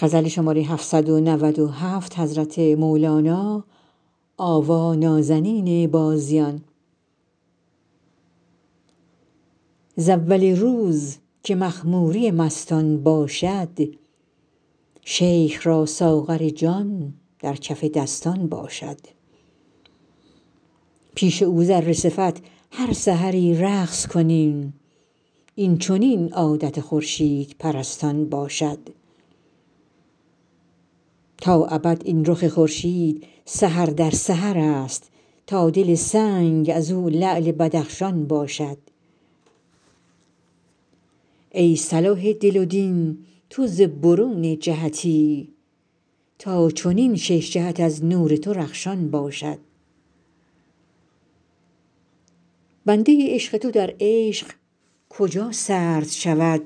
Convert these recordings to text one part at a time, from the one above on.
ز اول روز که مخموری مستان باشد شیخ را ساغر جان در کف دستان باشد پیش او ذره صفت هر سحری رقص کنیم این چنین عادت خورشیدپرستان باشد تا ابد این رخ خورشید سحر در سحرست تا دل سنگ از او لعل بدخشان باشد ای صلاح دل و دین تو ز برون جهتی تا چنین شش جهت از نور تو رخشان باشد بنده عشق تو در عشق کجا سرد شود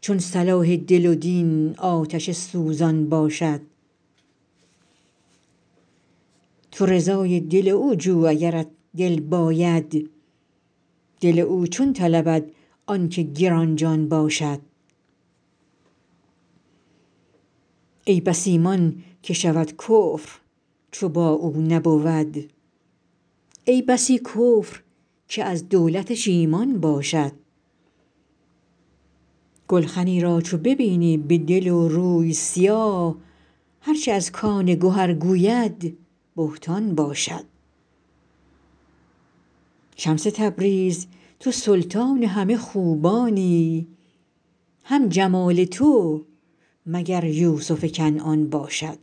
چون صلاح دل و دین آتش سوزان باشد تو رضای دل او جو اگرت دل باید دل او چون طلبد آنک گران جان باشد ای بس ایمان که شود کفر چو با او نبود ای بسی کفر که از دولتش ایمان باشد گلخنی را چو ببینی به دل و روی سیاه هر چه از کان گهر گوید بهتان باشد شمس تبریز تو سلطان همه خوبانی هم جمال تو مگر یوسف کنعان باشد